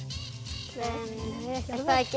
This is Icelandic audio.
nei ekki